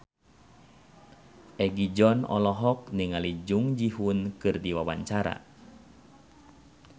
Egi John olohok ningali Jung Ji Hoon keur diwawancara